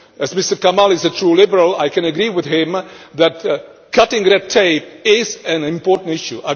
As Mr Kamall is a true liberal I can agree with him that cutting red tape is an important issue.